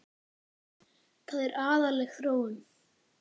Það er agaleg þróun.